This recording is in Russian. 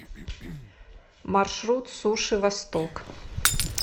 маршрут суши восток